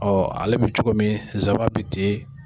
Ɔɔ ale bi cogo min zaban bi ten.